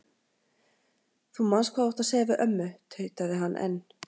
Þú manst hvað þú átt að segja við ömmu tautaði hann enn.